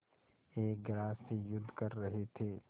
एक ग्रास से युद्ध कर रहे थे